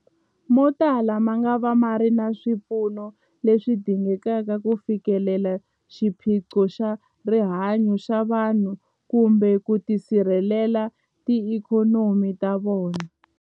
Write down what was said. Motala mangava ma nga ri na swipfuno leswi dingekaka ku fikelela xiphiqo xa rihanyu ra vanhu kumbe ku sirhelela tiikhonomi ta vona.